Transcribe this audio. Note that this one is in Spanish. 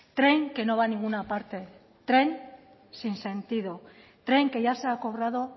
tren que no va a ninguna parte tren sin sentido tren que ya se ha cobrado